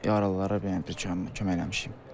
Yaralılara bir kömək eləmişik.